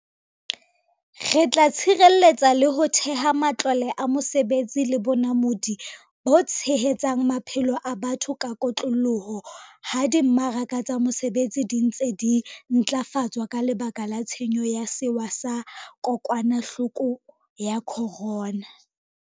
Re tla tshireletsa le ho theha matlole a mesebetsi le bonamodi bo tshehetsang maphelo a batho ka kotloloho ha di mmaraka tsa mesebetsi di ntse di ntlafatswa ka lebaka la tshenyo ya sewa sa ko kwanahloko ya corona.